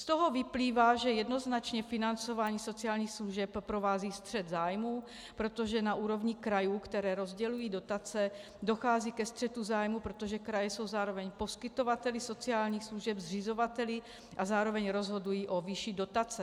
Z toho vyplývá, že jednoznačně financování sociálních služeb provází střet zájmů, protože na úrovni krajů, které rozdělují dotace, dochází ke střetu zájmů, protože kraje jsou zároveň poskytovateli sociálních služeb, zřizovateli, a zároveň rozhodují o výši dotace.